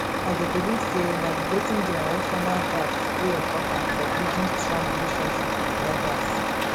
i dey believe say navigating generational gaps dey important for building strong relationships with elders